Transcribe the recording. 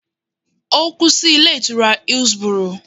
Ó kú sí Ilé Ìtura Hillsboro